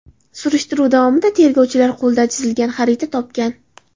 Surishtiruv davomida tergovchilar qo‘lda chizilgan xarita topgan.